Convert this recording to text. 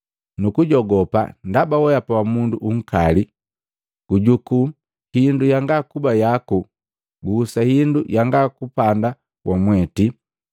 nugujogupa ndaba weapa wa mundu unkali. Gujuku hindu yanga kuba yaku nukuhusa hindu yanga kupanda wamweti.’